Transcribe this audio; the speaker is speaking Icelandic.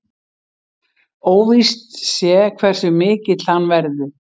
Óvíst sé hversu mikill hann verði